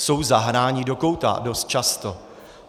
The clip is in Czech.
Jsou zahnáni do kouta dost často.